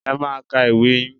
Ẹ máa ka ìwé yín